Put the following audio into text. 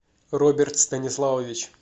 роберт станиславович